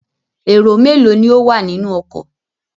Èrò mélòó ni ó wà nínú ọkọ?